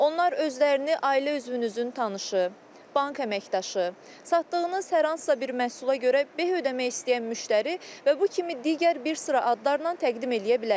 Onlar özlərini ailə üzvünüzün tanışı, bank əməkdaşı, satdığınız hər hansısa bir məhsula görə beh ödəmək istəyən müştəri və bu kimi digər bir sıra adlarla təqdim eləyə bilərlər.